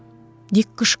Dik qışqırdı.